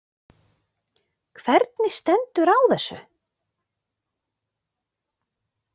Hvernig stendur á þessu?.